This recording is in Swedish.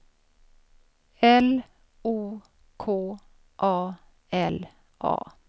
L O K A L A